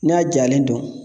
N'a jalen don